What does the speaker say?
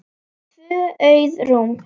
Tvö auð rúm.